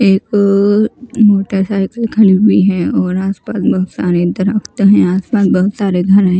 एक मोटरसाइकिल खड़ी हुई है और आसपास बहुत सारे दरख्त हैं आसपास बहुत सारे घर हैं।